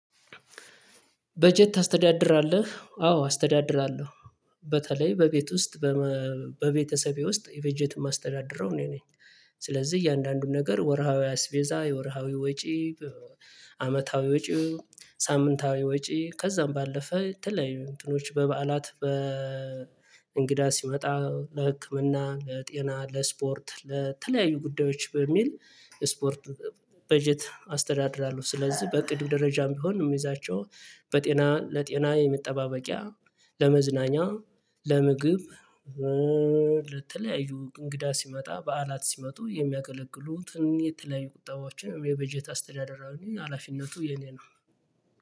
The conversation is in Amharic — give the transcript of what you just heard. በጀት ታስተዳድራለህ አዎ አስተዳድራለሁ በተለይ በቤት ውስጥ በቤተሰቤ ውስጥ የበጀት የማስተዳደረው እኔ ነኝ። ስለዚህ እያንዳንዱን ነገር ወርሃዊ አስቤዛ የወርሃዊ ወጪ። አመታዊ ወጪ ሳምንታዊ ወጪ ከዛም ባለፈ የተለያዩ ወጭ በበዓላት በእንግዳ ሲመጣ ለህክምና ለጤና ለስፖርት ለተለያዩ ጉዳዮች በሚል ስፖርት በጀት አስተዳድራለሁ። ስለዚህ በቅድም ደረጃም ቢሆን የሚይዛቸው በጤና ለጤና የመጠባበቂያ ለመዝናኛ ለምግብ። ለተለያዩ እንግዳ ሲመጣ በዓላት ሲመጡ የሚያገለግሉትን የተለያዩ ቁጣባችን የበጀት አስተዳደር ሀላፊነቱ የኔ ነው።